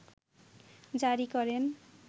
জারি করেন